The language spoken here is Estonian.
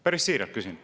Päris siiralt küsin.